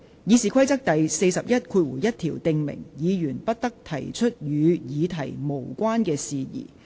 《議事規則》第411條訂明，議員不得提出與議題無關的事宜。